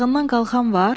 Yatağından qalxan var?